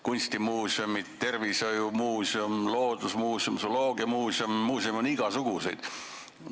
Kunstimuuseumid, tervishoiumuuseum, loodusmuuseum, zooloogiamuuseum – muuseume on igasuguseid.